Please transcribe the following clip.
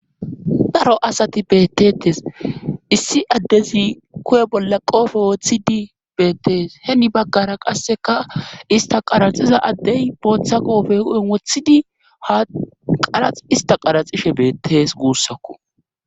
daro asati bettetes issi addezi kuye bolla qoofe wooththidi beettees heni baggara qasseka ista qaraxiza addey booththa qoofe hu7en wothidi ha qarax ista qaraxishe beettees guussakko